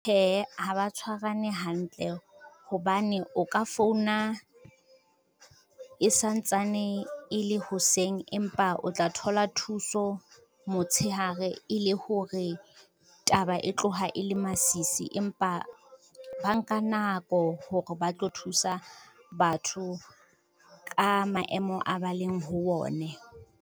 Hee ha ba tshwarane hantle hobane o ka founa e santsane e le hoseng empa o tla thola thuso motshehare e le hore taba e tloha e le masisi, empa ba nka nako hore ba tlo thusa batho ka maemo a ba leng ho one.